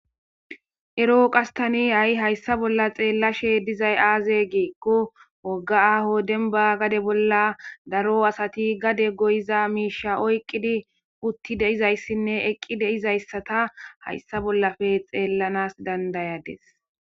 ero qastani hay hayssa bolla xeellashe dizay aaze giikko wogga aaho denba gade bolla daro asati gade goyiza miisha oyqqidi utti deizayssinne eqqi deizayssata hayssa bollafe xeellanas dandayades